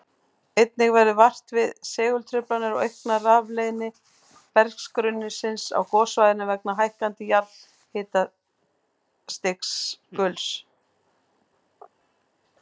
Einnig verður vart við segultruflanir og aukna rafleiðni berggrunnsins á gossvæðinu vegna hækkandi jarðhitastiguls.